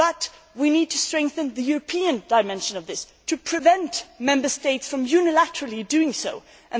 this. But we need to strengthen the European dimension of this and to prevent Member States from unilaterally taking action.